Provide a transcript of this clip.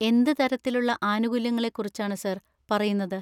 എന്ത് തരത്തിലുള്ള ആനുകൂല്യങ്ങളെക്കുറിച്ചാണ് സാർ പറയുന്നത്?